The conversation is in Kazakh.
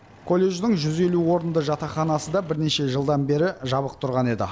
колледждің жүз елу орынды жатақханасы да бірнеше жылдан бері жабық тұрған еді